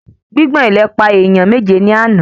Gbigbọn ilẹ̀ pa èèyàn méje ní àna